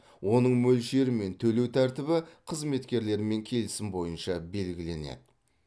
оның мөлшері мен төлеу тәртібі қызметкермен келісім бойынша белгіленеді